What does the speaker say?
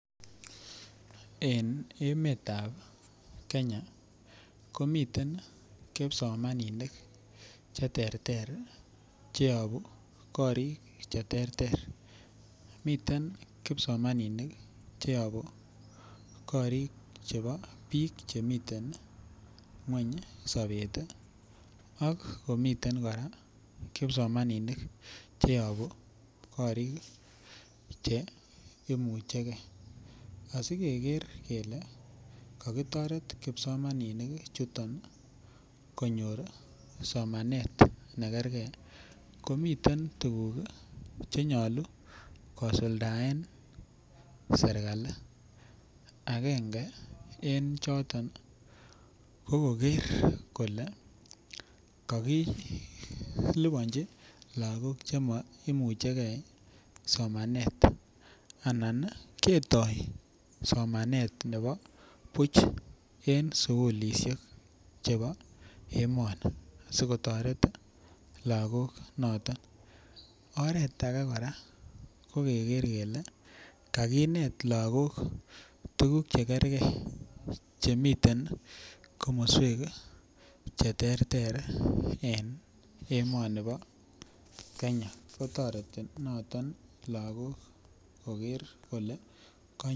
En emetab kenya komiten kipsomaninik cheterter cheyobu korik cheterter, miten kipsomaninik cheyobu korik chepo biik chemiten ngweny sobet ii, akomiten kora kipsomaninik cheyobu korik cheimuche ge, asikeker kele kokitoret kipsomaninik chuton konyor somanet nekergee komiten tuguk chenyolu kosuldaen serikal akenge en choton kokoker kole kokilipanji lakok chemoimucheke somanet anan ketoo somanet nebo buch en sikulisiek chepo emoni sikotoret lakok noton, kora kokeker kele kakinet lakok tukuk chekerge chemiten komoswek cheterter en emoni bo kenya kotoreti noton lakok koker kole kony.